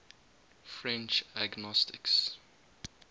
french agnostics